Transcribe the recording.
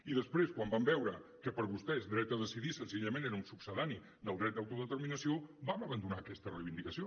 i després quan vam veure que per a vostès dret a decidir senzillament era un succedani del dret d’autodeterminació vam abandonar aquesta reivindicació